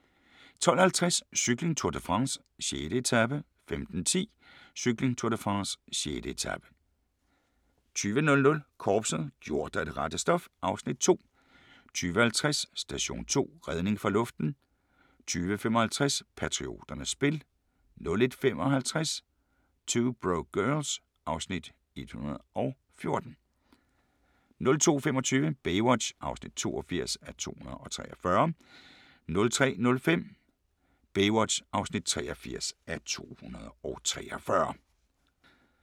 12:50: Cykling: Tour de France - 6. etape 15:10: Cykling: Tour de France - 6. etape 20:00: Korpset - gjort af det rette stof (Afs. 2) 20:50: Station 2: Redning fra luften 22:55: Patrioternes spil 01:55: 2 Broke Girls (Afs. 114) 02:25: Baywatch (82:243) 03:05: Baywatch (83:243)